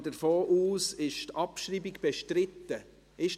Ich gehe davon aus, dass die Abschreibung bestritten ist.